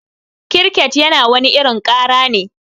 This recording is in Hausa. Kiriket yana wani irin kara ne.